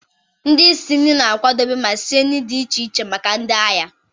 Ndị isi nri na-akwadebe ma sie nri dị iche iche maka ndị ahịa.